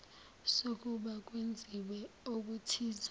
sokuba kwenziwe okuthize